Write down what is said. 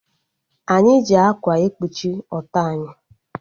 Anyị ji ákwà ekpuchi ọtọ anyị